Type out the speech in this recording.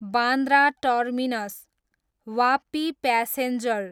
Bandra terminus, Vapi passenger